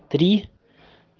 три